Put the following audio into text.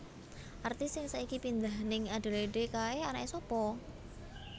Artis sing saiki pindah ning Adelaide kae anake sopo?